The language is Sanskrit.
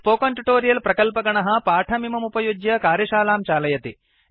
स्पोकेन् ट्युटोरिय प्रकल्पगणः पाठमिममुपयुज्य कार्यशालां चालयति